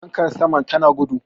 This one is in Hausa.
fankar saman tana gudu